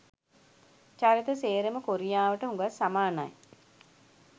චරිත සේරම කොරියාවට හුගක් සමානයි.